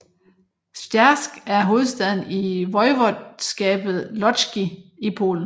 Zgierz er hovedstaden i voivodskabet Łódzkie i Polen